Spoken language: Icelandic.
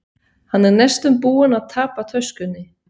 Hann er næstum búinn að tapa töskunni.